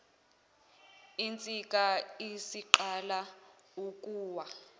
insika isiqala ukuwa